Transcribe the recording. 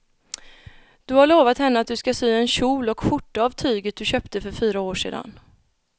Du har lovat henne att du ska sy en kjol och skjorta av tyget du köpte för fyra år sedan.